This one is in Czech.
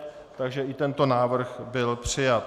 Takže i tento návrh byl přijat.